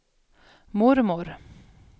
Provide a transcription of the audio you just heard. mormor